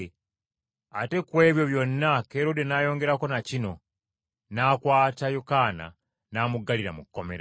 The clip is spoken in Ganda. ate ku ebyo byonna Kerode n’ayongerako na kino: n’akwata Yokaana n’amuggalira mu kkomera.